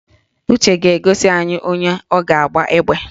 Uche ga-egosi anyị onye ọ ga-agba egbe